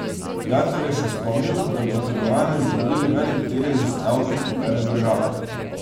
Gantar je še spomnil, da pri trgovanju z zdravili velik delež z davki pobere država.